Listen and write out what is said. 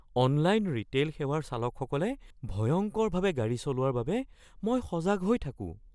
Online retail সেৱাৰ চালকসকলে ভয়ংকৰভাৱে গাড়ী চলোৱাৰ বাবে মই সজাগ হৈ থাকোঁ।